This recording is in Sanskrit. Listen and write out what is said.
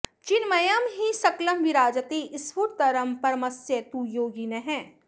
चिन्मयं हि सकलं विराजते स्फुटतरं परमस्य तु योगिनः